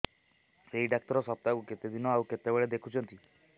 ଏଇ ଡ଼ାକ୍ତର ସପ୍ତାହକୁ କେତେଦିନ ଆଉ କେତେବେଳେ ଦେଖୁଛନ୍ତି